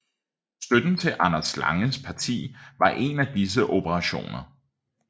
Støtten til Anders Langes parti var en af disse operationer